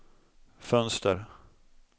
fönster